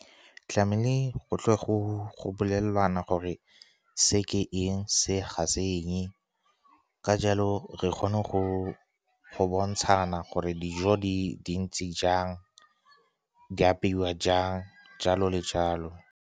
Tlamehile go tle go bolelwane gore se ke eng, se ga se eng. Ka jalo, re kgone go bontshana gore dijo di ntse jang, di apeiwa jang, jalo le jalo.